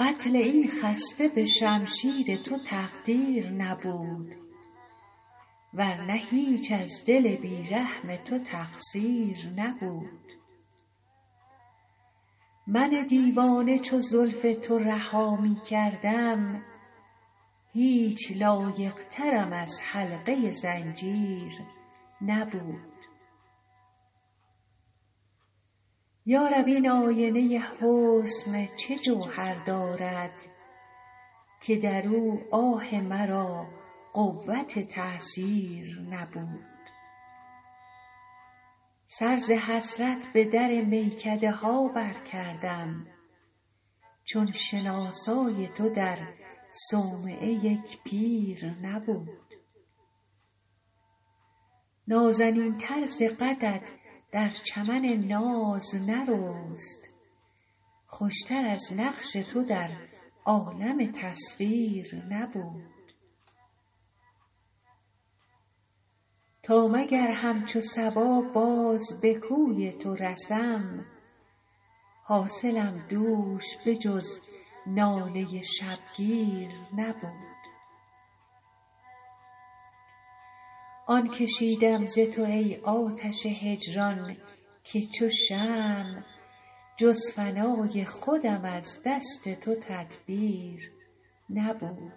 قتل این خسته به شمشیر تو تقدیر نبود ور نه هیچ از دل بی رحم تو تقصیر نبود من دیوانه چو زلف تو رها می کردم هیچ لایق ترم از حلقه زنجیر نبود یا رب این آینه حسن چه جوهر دارد که در او آه مرا قوت تأثیر نبود سر ز حسرت به در میکده ها برکردم چون شناسای تو در صومعه یک پیر نبود نازنین تر ز قدت در چمن ناز نرست خوش تر از نقش تو در عالم تصویر نبود تا مگر همچو صبا باز به کوی تو رسم حاصلم دوش به جز ناله شبگیر نبود آن کشیدم ز تو ای آتش هجران که چو شمع جز فنای خودم از دست تو تدبیر نبود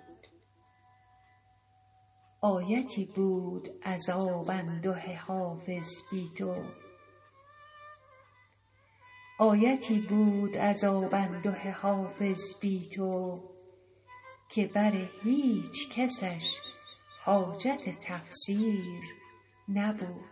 آیتی بود عذاب انده حافظ بی تو که بر هیچ کسش حاجت تفسیر نبود